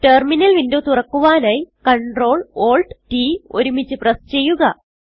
terminal window തുറക്കുവാനായി CtrlAltT ഒരുമിച്ച് press ചെയ്യുക